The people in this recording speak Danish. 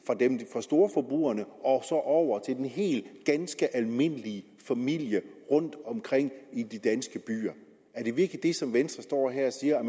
fra storforbrugerne og og over til de ganske almindelige familier rundtomkring i de danske byer er det virkelig det som venstre står her og siger